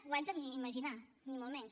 whatsapp ni imaginar ho ni molt menys